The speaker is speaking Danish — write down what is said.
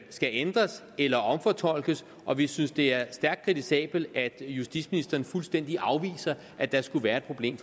skal ændres eller omfortolkes og vi synes det er stærkt kritisabelt at justitsministeren fuldstændig afviser at der skulle være et problem